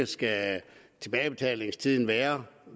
skal være